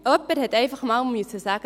Jemand musste einmal sagen: